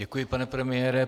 Děkuji, pane premiére.